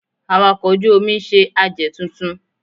Awakọ̀ ojú-omi ń ṣe àjẹ̀ tuntun